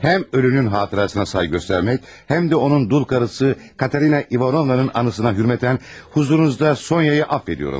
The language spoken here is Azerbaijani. Həm ölünün xatirəsinə sayğı göstərmək, həm də onun dul arvadı Katerina İvanovnanın anısına hörmətən hüzurunuzda Sonyanı əfv edirəm.